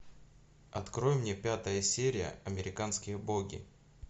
открой мне пятая серия американские боги